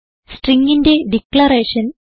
stringന്റെ declaration